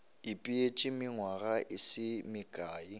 ipeetše nywaga e se mekae